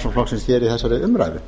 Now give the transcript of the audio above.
framsóknarflokksins hér í þessari ræðu